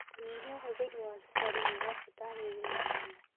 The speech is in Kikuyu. Kũnyĩhĩa ũhũthĩrĩ wa cũkarĩ nĩ gwa bata harĩ ũgima mwega